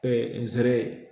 nsɛrɛ